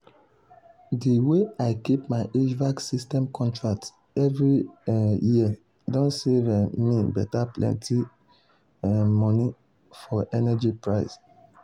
de way i dey keep my hvac system contract every um year don save um me beta plenty um money for energy price.